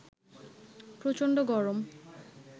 প্রচন্ড গরম